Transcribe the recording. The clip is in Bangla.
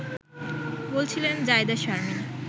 ” বলছিলেন জায়েদা শারমিন